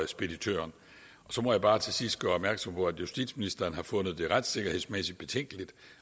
speditøren så må jeg bare til sidst gøre opmærksom på at justitsministeren har fundet det retssikkerhedsmæssigt betænkeligt